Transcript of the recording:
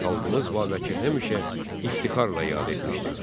Xalqımız Babəki həmişə iftixarla yad etmişdir.